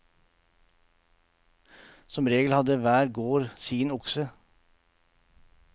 Som regel hadde hver gård sin okse.